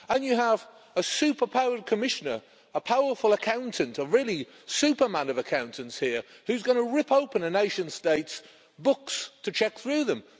You have a super-powered Commissioner, a powerful accountant, a real Superman of accountants, who's going to rip open a nation state's books to check through them.